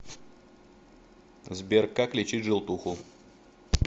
сбер как лечить желтуху